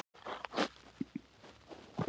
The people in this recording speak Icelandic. Mér hefur ekki alltaf líkað við mig.